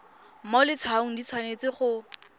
mo letshwaong di tshwanetse go